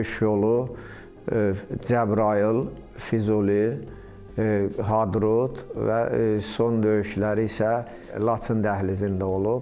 Döyüş yolu Cəbrayıl, Füzuli, Hadrut və son döyüşləri isə Laçın dəhlizində olub.